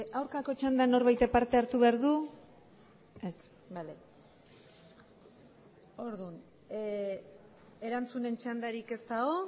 aurkako txandan norbaitek parte hartu behar du ez bale orduan erantzunen txandarik ez dago